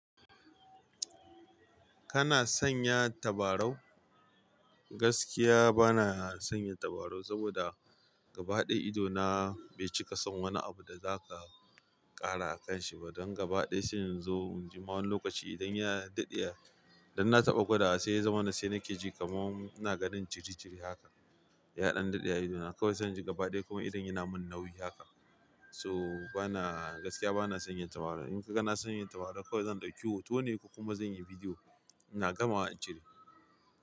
Kana sanya tabarau? Gaskiya bana sanya tabarau saboda gaba daya idona bai cika son wani abu da za ka kara akanshi ba don gaba ɗaya sai in zo inji ma wani lokaci idan ya daɗe, don na taɓa gwada wa sai ya zama na sai nake ji kamar ina ganin jiri jiri haka. Yaɗan daɗe a idona kawai zan ji gaba ɗaya kamar idon yana min nauyi haka. So bana, gaskiya bana sanya tabarau. In ka ga na sanya tabarau kawai zan ɗauki hoto ne kuma zan yi video. Ina gamawa in cire.